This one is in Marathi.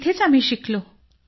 तिथेच आम्ही शिकलो